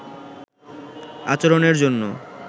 আচরণের জন্য